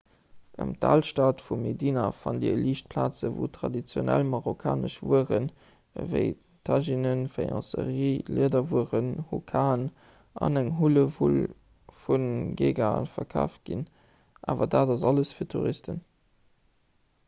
ëm d'alstad vu medina fannt dir liicht plazen wou traditionell marokkanesch wueren ewéi tajinnen faïencerie liederwueren hukaen an eng hullewull vu geegaen verkaaft ginn awer dat ass alles fir touristen